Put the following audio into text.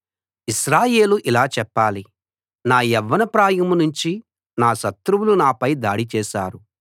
ఇశ్రాయేలు ఇలా చెప్పాలి నా యవ్వన ప్రాయం నుంచి శత్రువులు నాపై దాడి చేశారు